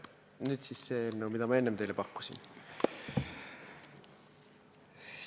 Nüüd siis see eelnõu, mida ma enne teile pakkusin.